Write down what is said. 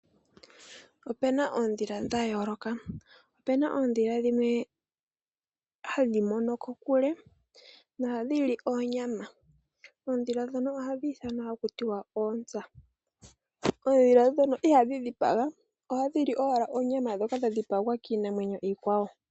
Opena oondhila dha yoolooka, opena oondhila dhimwe hadhi mono kokule na ohadhili oonyama. oondhila ndhono oha dhi ithanwa ha kutiwa Oontsa, oondhila ndhono ihadhi dhipaga oha dhili owala oonyama ndhoka dha dhipagwa kiinamwenyo iikwawo.